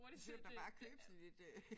Så kan du da bare købe sådan et øh